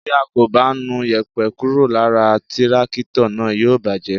Tí a kò bá nu yèpẹ̀ kúrò lára tírákítọ̀ náà, yóò bàjẹ́.